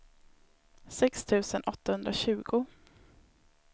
sex tusen åttahundratjugo